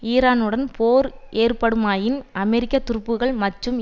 ஈரானுடன் போர் ஏற்படுமேயாயின் அமெரிக்க துருப்புக்கள் மற்றும்